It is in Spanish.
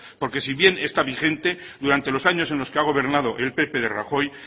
porque si bien está vigente durante los años en los que ha gobernado el pp de rajoy